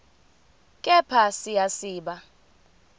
kepha siya siba